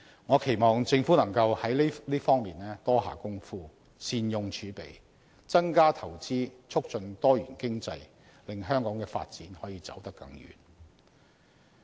我期望政府能在這方面多下工夫，善用儲備，增加投資促進多元經濟，令香港的發展可以走得更遠。